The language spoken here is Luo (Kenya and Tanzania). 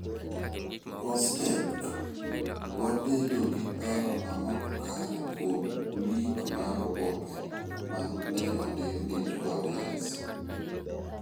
COSTECH: Wabedo gi paro ma ok kare kuom leak mar oboke ma ne ondiki ni TWAWEZ